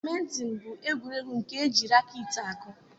badminton bụ egwuregwu nke ejirakeetị akụ.